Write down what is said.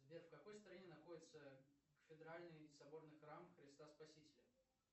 сбер в какой стране находится кафедральный соборный храм христа спасителя